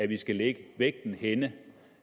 vi skal lægge vægten